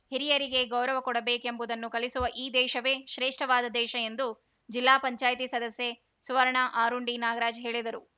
ಹಿರಿಯರಿಗೆ ಗೌರವ ಕೊಡಬೇಕೆಂಬುದನ್ನು ಕಲಿಸುವ ಈ ದೇಶವೇ ಶ್ರೇಷ್ಠವಾದ ದೇಶ ಎಂದು ಜಿಲ್ಲಾ ಪಂಚಾಯ್ತಿ ಸದಸ್ಯೆ ಸುವರ್ಣ ಆರುಂಡಿ ನಾಗರಾಜ ಹೇಳಿದರು